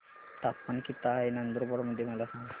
तापमान किता आहे नंदुरबार मध्ये मला सांगा